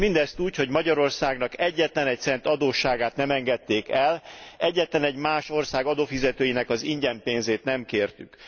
S mindezt úgy, hogy Magyarországnak egyetlen cent adósságát nem engedték el, egyetlenegy más ország adófizetőinek az ingyenpénzét nem kértük.